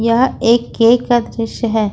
यह एक केक का दृश्य है।